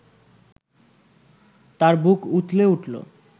তার বুক উথলে উঠল